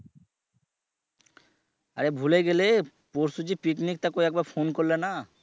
আরে ভুলে গেলে পরশু যে পিকনিক টা করে একবার phone করলে না?